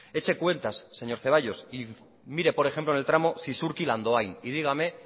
eche cuentas señor zaballos y mire por ejemplo en el tramo zizurkil andoain y dígame